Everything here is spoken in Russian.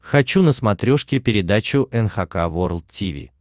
хочу на смотрешке передачу эн эйч кей волд ти ви